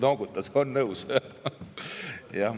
Noogutas, on nõus.